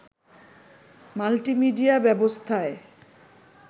multimedia ব্যবস্থায়